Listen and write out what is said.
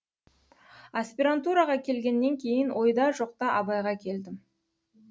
аспирантураға келгеннен кейін ойда жоқта абайға келдім